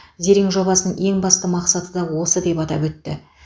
зерен жобасының ең басты мақсаты да осы деп атап өтті